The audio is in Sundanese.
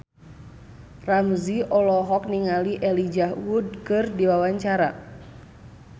Ramzy olohok ningali Elijah Wood keur diwawancara